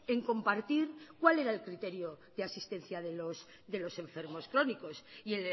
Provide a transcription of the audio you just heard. en compartir cuál era el criterio de asistencia de los enfermos crónicos y